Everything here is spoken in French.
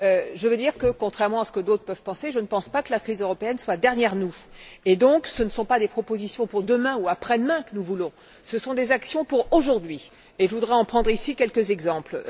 Je veux dire que, contrairement à ce que d'autres peuvent penser, je ne crois pas que la crise européenne soit derrière nous. Donc, ce ne sont pas des propositions pour demain ou après demain que nous voulons, ce sont des actions pour aujourd'hui, et je voudrais en donner ici quelques exemples.